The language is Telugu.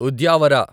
ఉద్యావర